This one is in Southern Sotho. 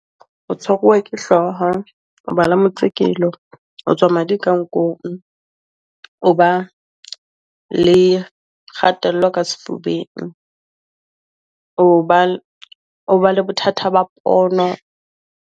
O tshwariwa ke hloha, o ba le motsekelo, o tswa madi ka nkong, o ba le kgatello ka sefubeng, o ba le bothata ba pono.